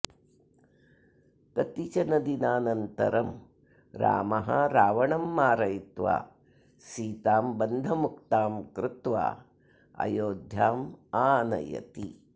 कतिचनदिनानन्तरं रामः रावणं मारयित्वा सीतां बन्धमुक्तां कृत्वा अयोध्यामानयति